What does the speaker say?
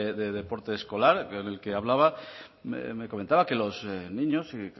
de deporte escolar con el que hablaba me comentaba que los niños y